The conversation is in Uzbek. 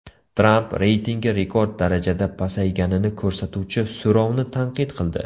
Tramp reytingi rekord darajada pasayganini ko‘rsatuvchi so‘rovni tanqid qildi .